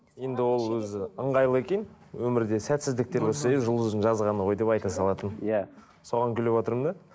енді ол өзі ыңғайлы екен өмірде сәтсіздіктер болса әй жұлдыздың жазғаны ғой деп айта салатын иә соған күліватырмын да